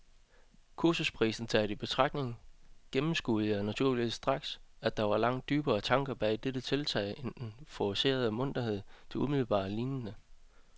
Kursusprisen taget i betragtning gennemskuede jeg naturligvis straks, at der var langt dybere tanker bag dette tiltag end den forcerede munterhed, det umiddelbart lignede.